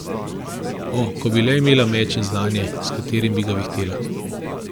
O, ko bi le imela meč in znanje, s katerim bi ga vihtela.